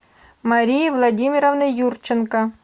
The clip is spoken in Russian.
марии владимировны юрченко